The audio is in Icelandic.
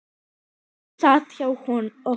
Hún sat hjá okkur